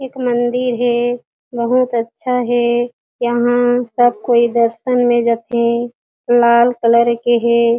एक मंदिर हे बहुत अच्छा हे यहाँ सब कोई दर्शन में जथे लाल कलर के हे।